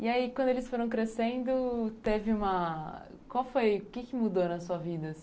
E aí, quando eles foram crescendo, teve uma, o que que mudou na sua vida?